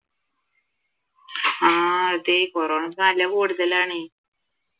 ആഹ് അതെ കൊറോണ ഒക്കെ നല്ല കൂടുതലാണ്